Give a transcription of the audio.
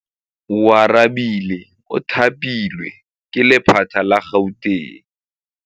Oarabile o thapilwe ke lephata la Gauteng.